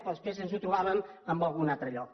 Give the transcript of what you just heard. però després ens ho trobàvem en algun altre lloc